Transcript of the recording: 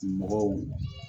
Mɔgɔw